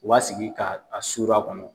U b'a sigi ka a suru a kɔnɔ.